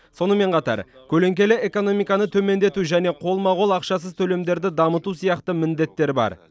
сонымен қатар көлеңкелі экономиканы төмендету және қолма қол ақшасыз төлемдерді дамыту сияқты міндеттер бар